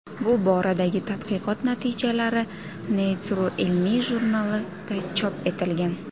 Bu boradagi tadqiqot natijalari Nature ilmiy jurnalida chop etilgan .